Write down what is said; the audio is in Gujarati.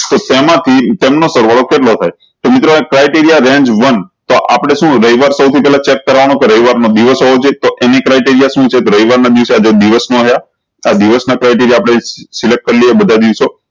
તો તેમાં હતી તેમનું સરવાળો કેટલો થાય તો મિત્રો criteria range વન આપળે શું ઉધાય એ વાત સૌ થી પેહલા select કરવાનું કે રવિવાર ના દિવસ હોવા જોયીયે તો એની criteria શું છે કે રવિવાર ના દિવસે આ જે દિવસ મા આયા આ દિવસ ના select આપળે criteria કરી લિયે બધા દિવસે